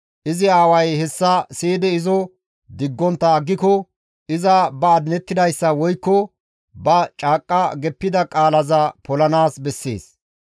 izi aaway hessa siyidi izo diggontta aggiko iza ba adinettidayssa woykko ba caaqqa geppida qaalaza polanaas bessees.